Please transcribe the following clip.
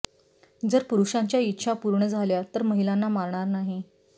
जर पुरुषांच्या इच्छा पूर्ण झाल्या तर महिलांना मारणार नाही